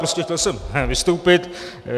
Prostě chtěl jsem vystoupit.